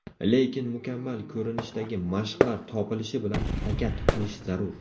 Lekin mukammal ko‘rinishdagi mashqlar topilishi bilan harakat qilish zarur.